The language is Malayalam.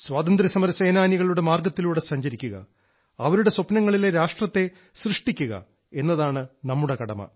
സ്വാതന്ത്ര്യസമര സേനാനികളുടെ മാർഗത്തിലൂടെ സഞ്ചരിക്കുക അവരുടെ സ്വപ്നങ്ങളിലെ രാഷ്ട്രത്തെ സൃഷ്ടിക്കുക എന്നതാണ് നമ്മുടെ കടമ